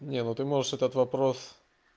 нет вот ты можешь этот вопрос